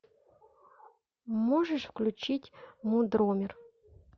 можешь включить мудромер